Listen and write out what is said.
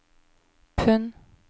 pund